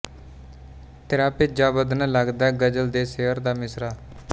ਤਿਰਾ ਭਿੱਜਾ ਬਦਨ ਲਗਦੈ ਗ਼ਜਲ ਦੇ ਸ਼ਿਅਰ ਦਾ ਮਿਸਰਾ